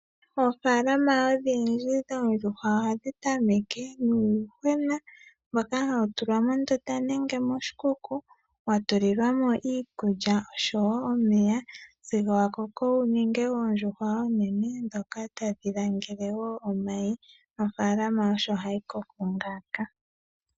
Oofaalama odhindji dhoondjuhwa ohadhi tameke nuuyuhwena mboka hawu tulwa mondunda nenge moshikuku watulilwa mo iikulya osho wo omeya sigo wa koko wu ninge oondjuhwa oonene ndhoka taldhi langele wo omayi. Ofaalama osho hayi koko ngaaka.